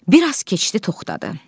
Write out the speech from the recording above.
Bir az keçdi, toxdadı.